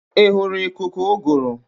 Ị hụrụ ikuku ụgụrụ?